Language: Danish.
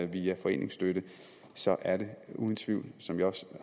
via foreningsstøtte så er det uden tvivl som jeg også